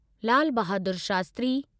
Lal Bahadur Shastri